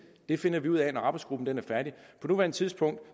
finder vi ud af når arbejdsgruppen er færdig på nuværende tidspunkt